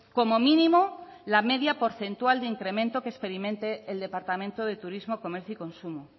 como mínimo la media porcentual de incremento que experimente el departamento de turismo comercio y consumo